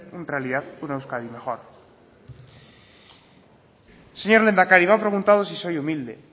realidad una euskadi mejor señor lehendakari me ha preguntado si soy humilde